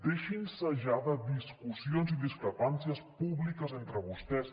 deixin se ja de discussions i discrepàncies públiques entre vostès